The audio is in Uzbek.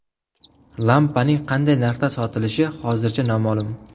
Lampaning qanday narxda sotilishi hozircha noma’lum.